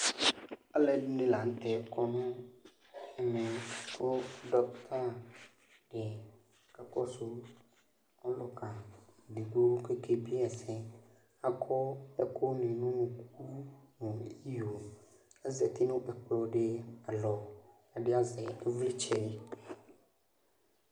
Alɛdini la kɔ nɛmɛ ku dokita di la kakɔsu ɔluka di ku ɔkebieyi ɛsɛku akɔ ɛku du nu unuku azati nu ɛkplɔ di alɔ ɛdi azɛ ivlitsɛ